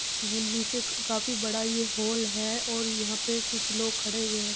वो नीचे काफी बड़ा ये हॉल है और यहाँ पे कुछ लोग खड़े हुए है।